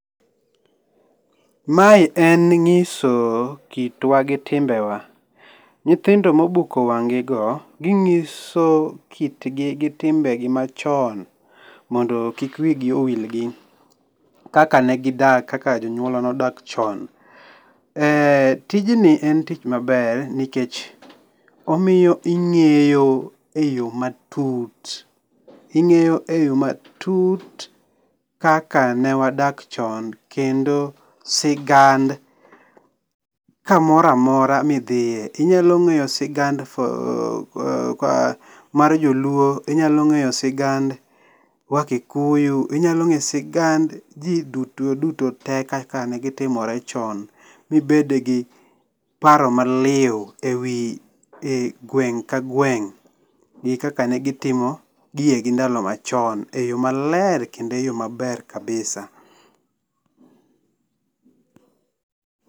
Mae en nyiso kitwa gi timbe wa. Nyithindo ma obuko wany'igo ginyiso kitgi gi timbegi machon mondo kik wigi owilgi kaka negidak, kaka jonyuolwa nodak chon. Eee tijni en tich maber nikech omiyo inge'yo e yo matut, omiyo inge'yo e yo matut kaka newadak chon kendo sigand kamora mora midhiye. Inyalo nge'yo sigand mar joluo, nyalonge'yo sigand wakikuyu, inyalo ngeyo sigand ji duto duto te kaka ne gitimore chon mibedgi paro maliu e wi gweng' ka gweng' gi kaka ne gitimo gigegi e ndalo machon e yo maler kendo e yo maber kabisa